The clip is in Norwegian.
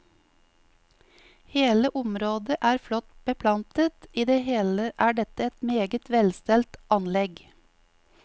Hele området er flott beplantet, i det hele er dette et meget velstelt anlegg.